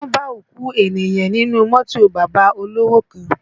Wọ́n bá òkú ènìyàn nínú mọ́tò bàbá olówò kan